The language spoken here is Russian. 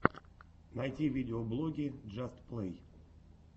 найти видеоблоги джаст плей